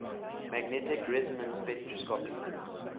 magnetic resonance spectroscopy